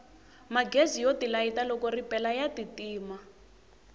magezi yo tilayita loko ripela ya ti tima